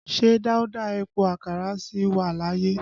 Ṣé Dauda Epo Àkàrà sì wà láyé?